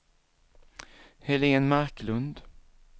Helén Marklund